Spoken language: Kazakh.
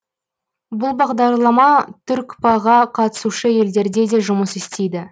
бұл бағдарлама түркпа ға қатысушы елдерде де жұмыс істейді